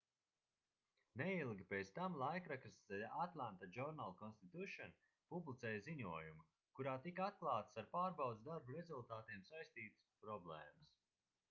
neilgi pēc tam laikraksts the atlanta journal-constitution publicēja ziņojumu kurā tika atklātas ar pārbaudes darbu rezultātiem saistītās problēmas